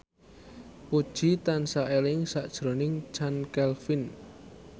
Puji tansah eling sakjroning Chand Kelvin